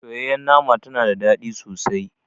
Soyayyar nama tana da ɗadi sosai.